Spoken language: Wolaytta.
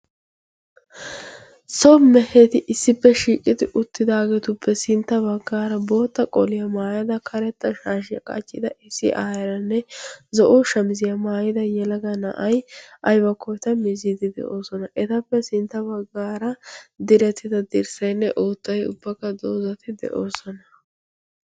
so meheti issippe shiiqidi uttidaageetuppe sintta baggaara bootta qoliyaa maayada karetta shaashiyaa qaccida issi aayyiyanne zo'o shamiziyaa maayida yalaga na'ay aybakkoota miziidi de'oosona etappe sintta baggaara diretida dirssaynne oottay ubbakka doozati de'oosona